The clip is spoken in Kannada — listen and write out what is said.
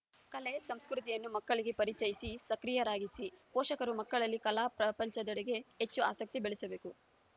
ಕಲೆ ಸಂಸ್ಕೃತಿಯನ್ನು ಮಕ್ಕಳಿಗೆ ಪರಿಚಯಿಸಿ ಸಕ್ರಿಯರಾಗಿಸಿ ಪೋಷಕರು ಮಕ್ಕಳಲ್ಲಿ ಕಲಾ ಪ್ರಪಂಚದೆಡೆಗೆ ಹೆಚ್ಚು ಆಸಕ್ತಿ ಬೆಳೆಸಬೇಕು